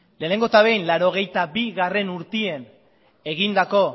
lehengo eta behin mila bederatziehun eta laurogeita bigarrena urtean egindako